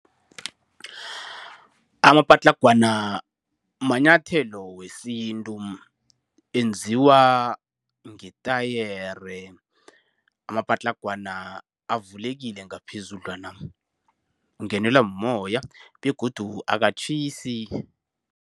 Amapatlagwana manyathelo wesintu. Enziwa ngetayere. Amapatlagwana avulekile ngaphezudlwana. Ungenelwa moya, begodu akatjhisi.